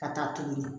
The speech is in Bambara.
Ka taa tugunni